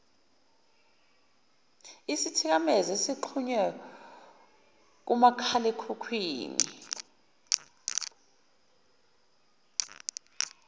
isithikamezo ezixhunywe kumakhalekhukhwini